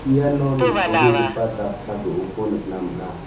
iano nitobegipa jatsa do·oko nikna man·a.